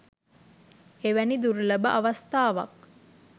එවැනි දුර්ලභ අවස්ථාවක්